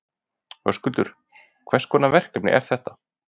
Höskuldur: Hvers konar verkefni eru þetta?